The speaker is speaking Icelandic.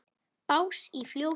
Bás í fjósi?